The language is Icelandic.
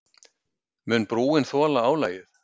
Mun brúin þola álagið?